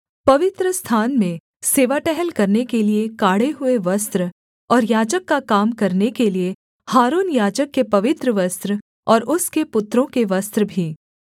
पवित्रस्थान में सेवा टहल करने के लिये काढ़े हुए वस्त्र और याजक का काम करने के लिये हारून याजक के पवित्र वस्त्र और उसके पुत्रों के वस्त्र भी